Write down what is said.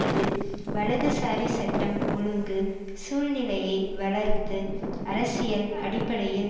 இது வலதுசாரி சட்டம் ஒழுங்கு சூழ்நிலையை வளர்த்து அரசியல் அடிப்படையில்